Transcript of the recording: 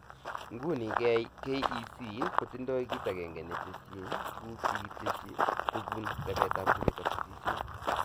Nguni, KEC kotindoi kit agenge netesyi tuguk chekitesyi:kobun rebetab chechobe tesisyit